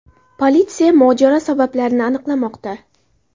Politsiya mojaro sabablarini aniqlamoqda.